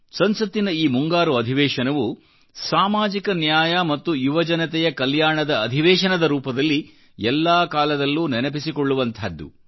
ಸಂಸತ್ತಿನ ಈ ಮುಂಗಾರು ಅಧಿವೇಶನವು ಸಾಮಾಜಿಕ ನ್ಯಾಯ ಮತ್ತು ಯುವಜನತೆಯ ಕಲ್ಯಾಣದ ಅಧಿವೇಶನದರೂಪದಲ್ಲಿ ಎಲ್ಲಾ ಕಾಲದಲ್ಲೂ ನೆನಪಿಸಿಕೊಳ್ಳುವಂಥಾದ್ದು